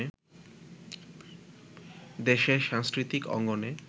দেশের সাংস্কৃতিক অঙ্গনে